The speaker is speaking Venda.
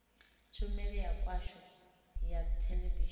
tshumelo ya khasho ya theḽevishini